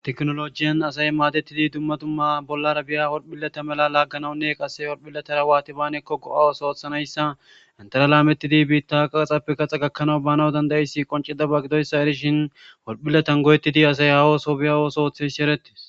tekinolojiyan asay maadettidi dummadumma bollara biya wolphileta mela laagganawunne qasse wolphiletara waati baanekko go7awos oothanayssa intera laametidi biitta qaxappe qaxa gakkanawu bana dandayissi qonceda ba gidoyssa erishin wolphiletan goyetidi asay hawooso biyawoos oothes shi eretti